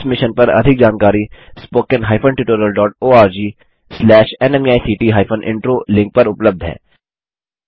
इस मिशन पर अधिक जानकारी spoken hyphen tutorial dot org slash NMECT hyphen intro link पर उपलब्ध है